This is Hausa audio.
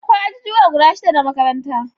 Akwai ajijuwa guda shida na makaranta